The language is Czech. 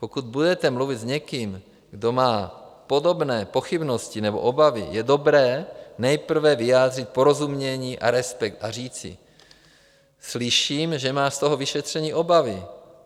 Pokud budete mluvit s někým, kdo má podobné pochybnosti nebo obavy, je dobré nejprve vyjádřit porozumění a respekt a říci: Slyším, že máš z toho vyšetření obavy.